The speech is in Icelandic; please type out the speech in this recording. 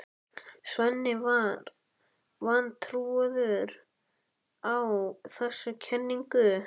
Svenni var vantrúaður á þessa kenningu.